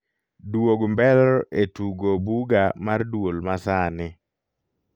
duog mbelr e tugo buga mar duol ma sani